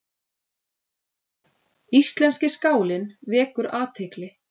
Íslenski skálinn vekur athygli